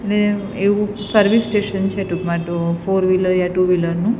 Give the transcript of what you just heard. ને એવુ service station છે ટૂકમાં તો ફોર વ્હિલર યા ટૂ વ્હિલર નુ.